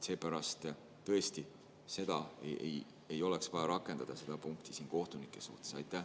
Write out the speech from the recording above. Seepärast tõesti seda punkti ei oleks vaja kohtunike suhtes rakendada.